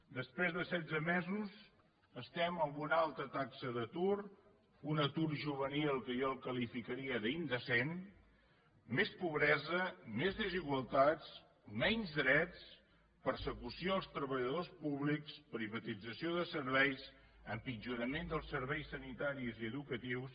després de setze mesos estem amb una alta taxa d’atur un atur juvenil que jo el qualificaria d’indecent més pobresa més desigualtats menys drets persecució als treballadors públics privatització de serveis empitjorament dels serveis sanitaris i educatius